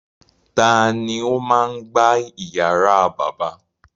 Ta ni ó máa ń ìyàrá bàbá?